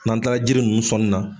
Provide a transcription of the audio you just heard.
N'an kilala jiri nunnu sɔn na.